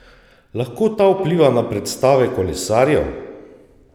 Lahko ta vpliva na predstave kolesarjev?